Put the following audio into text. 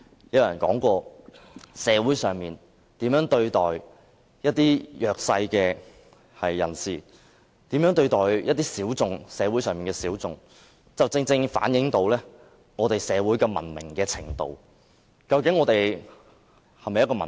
有人說過，社會如何對待弱勢人士，如何對待社會上的小眾，正好反映出社會的文明程度：究竟我們的社會是否文明？